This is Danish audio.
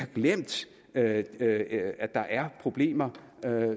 glemt at at der er problemer